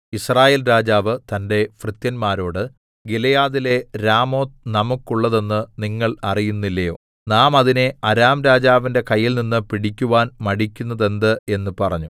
യിസ്രായേൽ രാജാവ് തന്റെ ഭൃത്യന്മാരോട് ഗിലെയാദിലെ രാമോത്ത് നമുക്കുള്ളതെന്ന് നിങ്ങൾ അറിയുന്നില്ലയോ നാം അതിനെ അരാം രാജാവിന്റെ കയ്യിൽനിന്ന് പിടിക്കുവാൻ മടിക്കുന്നതെന്ത് എന്ന് പറഞ്ഞു